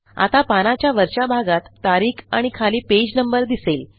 आता पानाच्या वरच्या भागात तारीख आणि खाली पेज नंबर दिसेल